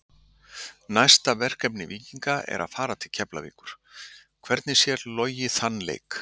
Næsta verkefni Víkinga er að fara til Keflavíkur, hvernig sér Logi þann leik?